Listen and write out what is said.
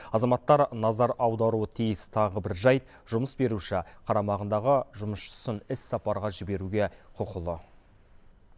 азаматтар назар аударуы тиіс тағы бір жайт жұмыс беруші қарамағындағы жұмысшысын іссапарға жіберуге құқылы